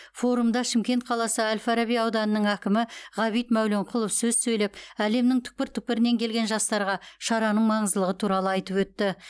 форумда шымкент қаласы әл фараби ауданының әкімі ғабит мәуленқұлов сөз сөйлеп әлемнің түкпір түкпірінен келген жастарға шараның маңыздылығы туралы айтып өтті